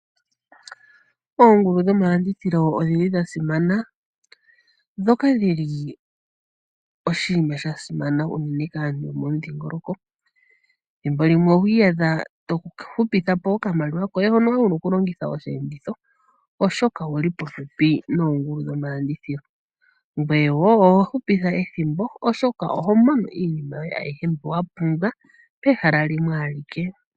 Oongulu dhomalandithilo odhi li dhasimana, ndhoka dhili oshiima shasimana unene kaantu yo mo mudhingoloko. Thimbo limwe oho iyadha tohupithapo oshimaliwa shoka wa li wuna okulongitha mosheenditho oshoka owu li popepi noongaku dhomalandithilo, ngweye woo oho hupitha ethimbo oshoka oho mono iinima yoye ayihe mbi wapumbwa pehala limwe alike.